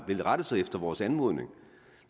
vil rette sig efter vores anmodning